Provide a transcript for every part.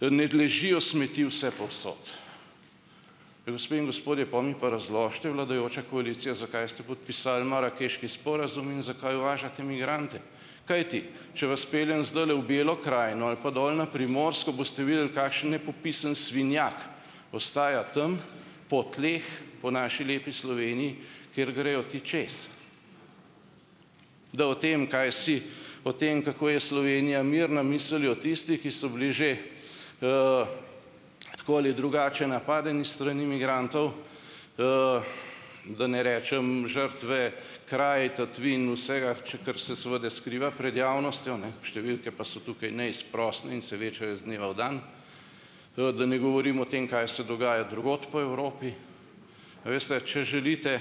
ne ležijo smeti vsepovsod." Gospe in gospodje, pol mi pa razložite, vladajoča koalicija, zakaj ste podpisali marakeški sporazum in zakaj uvažate migrante, kajti če vas peljem zdajle v Belo krajino ali pa dol na Primorsko, boste videli, kakšen nepopisen svinjak ostaja tam po tleh, po naši lepi Sloveniji, ker grejo ti čez, da o tem, kaj si o tem, kako je Slovenija mirna, mislijo tisti, ki so bili že tako ali drugače napadeni s strani migrantov, da ne rečem žrtve kraj, tatvin, vsega, kar se seveda skriva pred javnostjo, ne, številke pa so tukaj neizprosne in se večajo iz dneva v dan, da ne govorim o tem, kaj se dogaja drugod po Evropi, a veste, če želite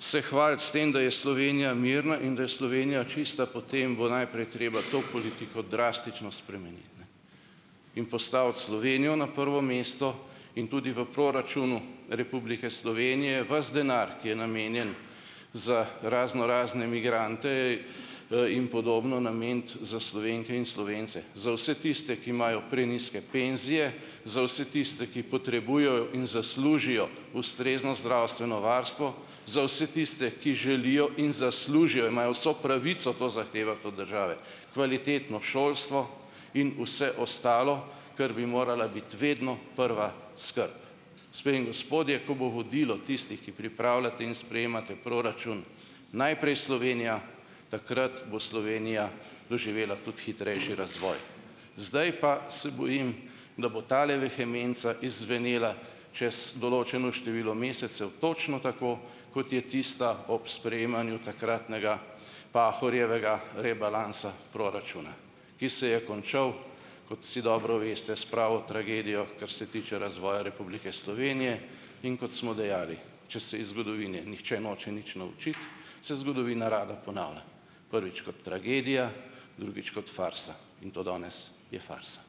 se hvaliti s tem, da je Slovenija mirna in da je Slovenija čista, potem bo najprej treba to politiko drastično spremeniti in postaviti Slovenijo na prvo mesto in tudi v proračunu Republike Slovenije vas denar, ki je namenjen za raznorazne migrante in podobno, nameniti za Slovenke in Slovence, za vse tiste, ki imajo prenizke penzije, za vse tiste, ki potrebujejo in zaslužijo ustrezno zdravstveno varstvo, za vse tiste, ki želijo in zaslužijo, imajo vso pravico to zahtevati od države, kvalitetno šolstvo in vse ostalo, kar bi morala biti vedno prva skrb, gospe in gospodje, ko bo vodilo tistih, ki pripravljate in sprejemate proračun "najprej Slovenija", takrat bo Slovenija doživela tudi hitrejši razvoj, zdaj pa se bojim, da bo tale vehemenca izzvenela čez določeno število mesecev točno tako, kot je tista ob sprejemanju takratnega Pahorjevega rebalansa proračuna, ki se je končal, kot vsi dobro veste, s pravo tragedijo, kar se tiče razvoja Republike Slovenije, in kot smo dejali, če se iz zgodovine nihče noče nič naučiti, se zgodovina rada ponavlja, prvič kot tragedija, drugič kot farsa, in to danes je farsa.